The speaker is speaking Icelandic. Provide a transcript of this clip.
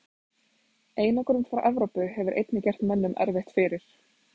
Einangrun frá Evrópu hefur einnig gert mönnum erfitt fyrir.